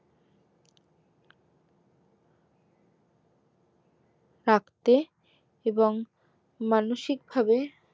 থাকতে এবং মানসিক ভাবে